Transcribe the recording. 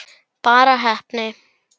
Bara heppni?